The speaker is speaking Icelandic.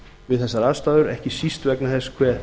við þessar aðstæður ekki síst vegna þess hve